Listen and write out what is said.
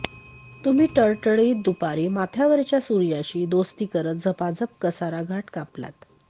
तुम्ही टळटळीत दुपारी माथ्यावरच्या सूर्याशी दोस्ती करत झपाझप कसारा घाट कापलात